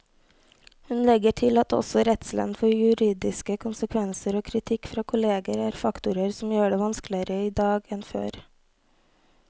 Hun legger til at også redselen for juridiske konsekvenser og kritikk fra kolleger er faktorer som gjør det vanskeligere i dag enn før.